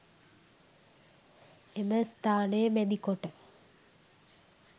එම ස්ථානය මැදිකොට